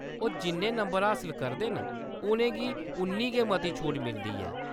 ओह्‌‌ जिन्ने मते नंबर हासल करदे न, उʼनें गी उन्नी गै मती छूट मिलदी ऐ।